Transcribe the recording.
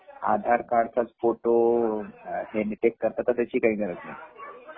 आधार card चा photo check करता पण त्याची काही गरज नाही